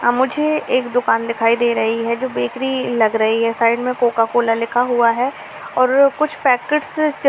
मुझे एक दुकान दिख रही है जो बेकरी लग रही है साइड में कोकोकला लिखा है और कुछ लोग पेकेट चिप्स।